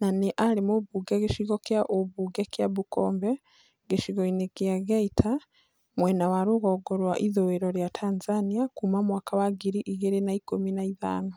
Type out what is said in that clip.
na nĩ arĩ mũmbunge gĩcigo kĩa ũmbunge kĩa Bukombe gĩcigo-inĩ gĩa Geita mwena ya rũgongo rwa ithũĩro rĩaTanzania kuma mwaka wa ngiri igĩrĩ na ikũmi na ithano.